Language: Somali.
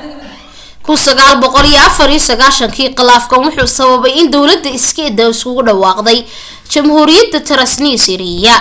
1994 kii qilaafkan wuxuu sababay in dawlada iskeeda iskugu dhawaaqday jamhuuriyada transnistria